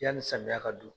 Yanni samiya ka don